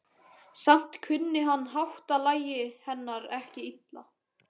Samt kunni hann háttalagi hennar ekki illa.